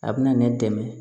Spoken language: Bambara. A bɛna ne dɛmɛ